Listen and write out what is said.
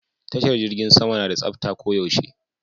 Tashar jirgin sama na da tsafta ko yaushe